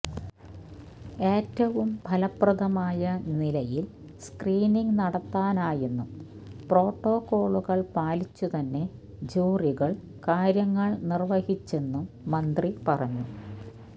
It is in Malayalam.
ഏറ്റവും ഫലപ്രദമായ നിലയില് സ്ക്രീനിങ് നടത്താനായെന്നും പ്രോട്ടോക്കോളുകള് പാലിച്ചു തന്നെ ജൂറികള് കാര്യങ്ങള് നിര്വഹിച്ചെന്നും മന്ത്രി പറഞ്ഞു